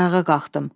Ayağa qalxdım.